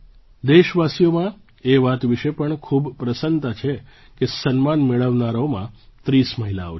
દેશવાસીઓમાં એ વાત વિશે પણ ખૂબ પ્રસન્નતા છે કે સન્માન મેળવનારાઓમાં 30 મહિલાઓ છે